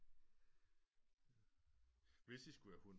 Hvis i skulle have hund